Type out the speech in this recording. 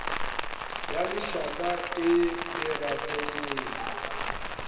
ya lešaka e e rakelele